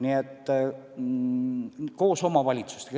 Nii et tegutseme koos omavalitsustega.